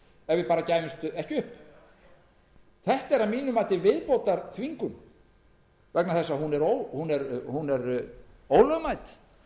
uppnám ef við gæfumst ekki upp þetta er að mínu mati viðbótarþvingun vegna þess að hún er ólögmæt